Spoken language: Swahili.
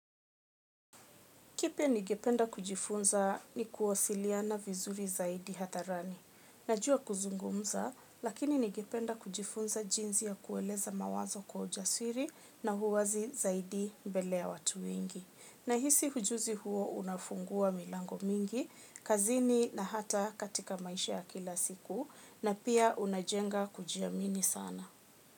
Kipya ningependa kujifunza ni kuwasiliana vizuri zaidi hadharani. Najua kuzungumza, lakini ningependa kujifunza jinsi ya kueleza mawazo kwa ujasiri na uwazi zaidi mbeleya watuwengi. Na hisi ujuzi huo unafungua milango mingi, kazini na hata katika maishaya kila siku na pia unajenga kujiamini sana.